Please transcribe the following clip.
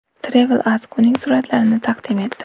Travel Ask uning suratlarini taqdim etdi.